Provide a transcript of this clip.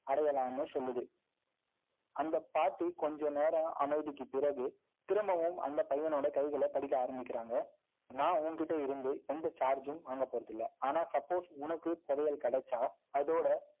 அந்தப் பாட்டி, கொஞ்ச நேரம் அமைதிக்குப் பிறகு, திரும்பவும், அந்தப் பையனோட கைகளை, படிக்க ஆரம்பிக்கறாங்க. நான், உன்கிட்ட இருந்து, எந்த charge ம் வாங்கப் போறது இல்லை. ஆனா suppose உனக்கு, துவையல் கிடைச்சா, அதோட